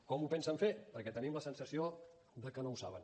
com ho pensen fer perquè tenim la sensació de que no ho saben